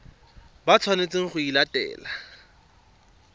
ba tshwanetseng go e latela